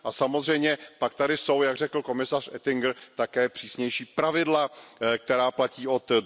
Samozřejmě pak tady jsou, jak řekl pan komisař Oettinger, také přísnější pravidla, která platí od